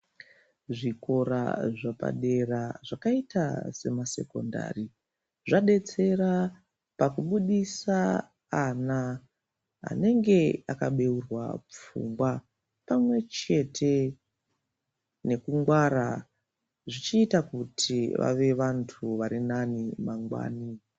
Zvikora zvapadera zvakaita semasekondari zvadetsera pakubudisa ana anenge akabeurwa pfungwa pamwechete nekungwara zvichiita kuti vave vandu vari nani mangwani.